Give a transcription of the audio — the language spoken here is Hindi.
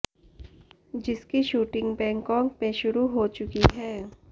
जिसकी शूटिंग बैकांक में शुरु हो चुकी है